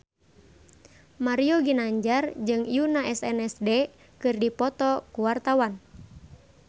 Mario Ginanjar jeung Yoona SNSD keur dipoto ku wartawan